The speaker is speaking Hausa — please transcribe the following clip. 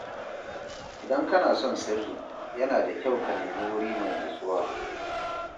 Idan kana son sirri, yana da kyau ka nemi wuri mai natsuwa.